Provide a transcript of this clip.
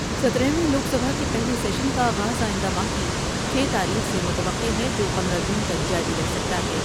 ستارہ ویں لوک سبھا کے پہلے سیشن کا آغاز آئندہ ماہ کی چھ تاریخ سے متوقع ہے جو پندرہ جون تک جاری رہ سکتا ہے ۔